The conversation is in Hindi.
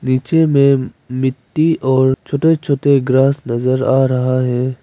नीचे में मिट्टी और छोटे छोटे ग्रास नजर आ रहा है।